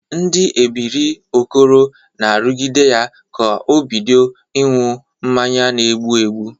Ndị ebiri Okoro na-arụgide ya ka o bidịo ịṅụ mmanya na-egbu egbu.